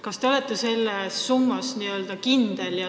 Kas te olete selles summas kindel?